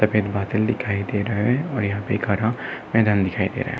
सफ़ेद बादल दिखाई दे रहा है और यहाँ पर एक हरा मैदान दिखाई दे रहा है।